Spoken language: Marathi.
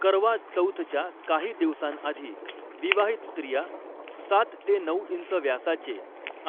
करवा चौथच्या काही दिवसांआधी, विवाहित स्त्रिया सात ते नऊ इंच व्यासाचे